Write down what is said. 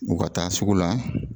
U ka taa sugu la